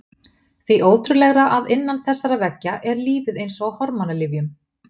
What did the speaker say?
Því ótrúlegra að innan þessara veggja er lífið eins og á hormónalyfjum.